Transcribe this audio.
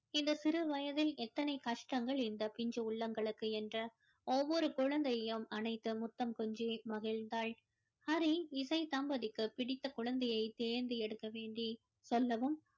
இந்த சிறு வயதில் எத்தனை கஷ்டங்கள் இந்த பிஞ்சு உள்ளங்களுக்கு என்று ஒவ்வொரு குழந்தையையும் அனைத்து முத்தம் கொஞ்சி மகிழ்ந்தாள் ஹரி இசை தம்பதிக்கு பிடித்த குழந்தையை தேர்ந்து எடுக்க வேண்டி சொன்னதும்